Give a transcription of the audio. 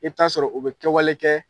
I bɛ ta'a sɔrɔ u bɛ kɛwale kɛ